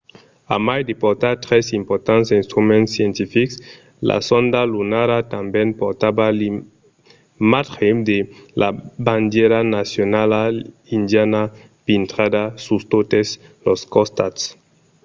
a mai de portar tres importants instruments scientifics la sonda lunara tanben portava l’imatge de la bandièra nacionala indiana pintrada sus totes los costats